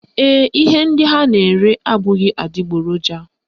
Ee, ihe ndị ha na-ere abụghị adịgboroja